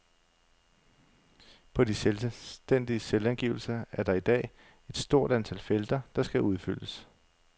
På de selvstændiges selvangivelser er der i dag et stort antal felter, der skal udfyldes.